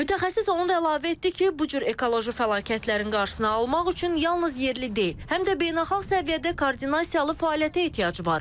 Mütəxəssis onun da əlavə etdi ki, bu cür ekoloji fəlakətlərin qarşısını almaq üçün yalnız yerli deyil, həm də beynəlxalq səviyyədə koordinasiyalı fəaliyyətə ehtiyac var.